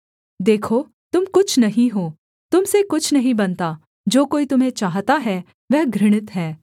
देखो तुम कुछ नहीं हो तुम से कुछ नहीं बनता जो कोई तुम्हें चाहता है वह घृणित है